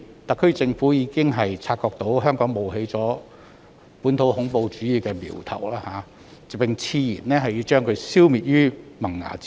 特區政府已察覺本地恐怖主義的苗頭在香港冒起，並矢言要將它消滅於萌芽階段。